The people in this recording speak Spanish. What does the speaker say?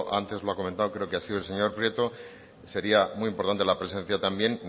antes lo ha comentado creo que ha sido el señor prieto creo que sería muy importante la presencia también